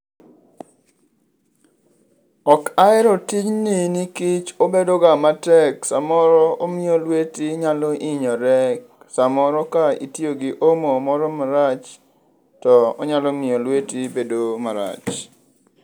Ok ahero tijni nikech obedoga matek samoro omiyo lweti nyalo hinyore, samoro ka itiyo gi omo moro marach to onyalo miyo lweti bedo marach.